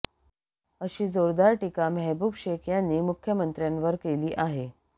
अशी जोरदार टीका मेहबूब शेख यांनी मुख्यमंत्र्यांवर केली आहे